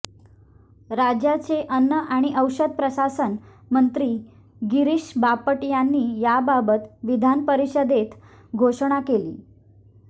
राज्याचे अन्न आणि औषध प्रशासन मंत्री गिरीष बापट यांनी याबाबत विधानपरिषदेत घोषणा केली